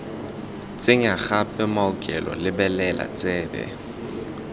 tsenya gape maokelo lebelela tsebe